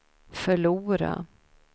förlora